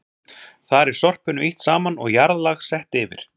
Þar er sorpinu ýtt saman og jarðlag sett yfir.